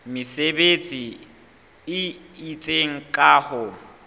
mesebetsi e itseng ka ho